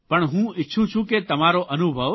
પણ હું ઇચ્છું છું કે તમારો અનુભવ